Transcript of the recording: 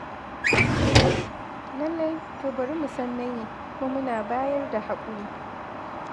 Lallai, to bari mu san na yi, kuma muna bayar da haƙuri.